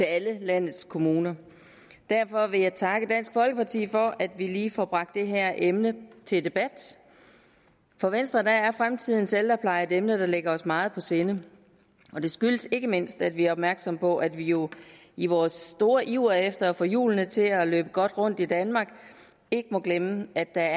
alle landets kommuner derfor vil jeg takke dansk folkeparti for at vi lige får bragt det her emne til debat for venstre er fremtidens ældrepleje et emne der ligger os meget på sinde og det skyldes ikke mindst at vi er opmærksomme på at vi jo i vores store iver efter at få hjulene til at løbe godt rundt i danmark ikke må glemme at der